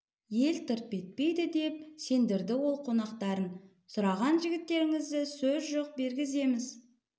ел тырп етпейді деп сендірді ол қонақтарын сұраған жігіттеріңізді сөз жоқ бергіземіз